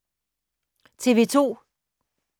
TV 2